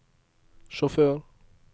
sjåfør